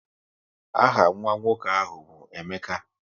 Aha nwa nwoke ahụ bụ Emeka